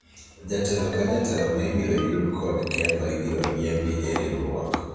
jatelo ka jatelo ma ibiro yud kod ketho ibiro riembi e riwruok